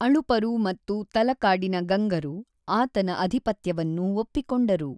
ಅಳುಪರು ಮತ್ತು ತಲಕಾಡಿನ ಗಂಗರು ಆತನ ಆಧಿಪತ್ಯವನ್ನು ಒಪ್ಪಿಕೊಂಡರು.